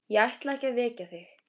Ég ætlaði ekki að vekja þig.